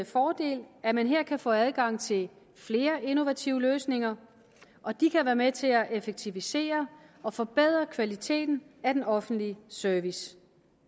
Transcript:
fordel at man her kan få adgang til flere innovative løsninger og de kan være med til at effektivisere og forbedre kvaliteten af den offentlige service